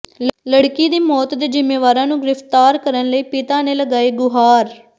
ਲੜਕੀ ਦੀ ਮੌਤ ਦੇ ਜ਼ਿੰਮੇਵਾਰਾਂ ਨੂੰ ਗਿ੍ਫ਼ਤਾਰ ਕਰਨ ਲਈ ਪਿਤਾ ਨੇ ਲਗਾਈ ਗੁਹਾਰ